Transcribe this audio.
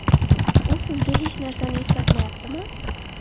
U sizga hech narsani eslatmayaptimi?